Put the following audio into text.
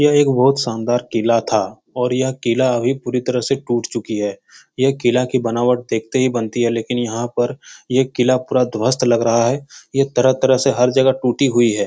यह एक बहुत शानदार किला था और यह किला अभी पूरी तरह से टूट चुकी है। यह किला की बनावट देखते ही बनती है लेकिन यहाँ पर ये किला पूरा ध्वस्त लग रहा है। यह तरह-तरह से हर जगह से टूटी हुई है।